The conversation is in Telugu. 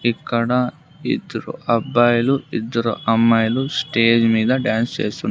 ఇక్కడ ఇద్దరు అబ్బాయిలు ఇద్దరు అమ్మాయిలు స్టేజ్ మీద డాన్స్ ఏస్తున్నా--